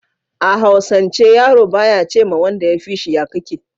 a hausance yaro ba ya ce ma wanda ya fishi "ya kake"